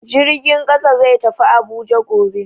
Jirgin kasa zai tafi Abuja gobe.